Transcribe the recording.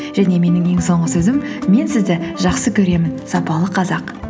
және менің ең соңғы сөзім мен сізді жақсы көремін сапалы қазақ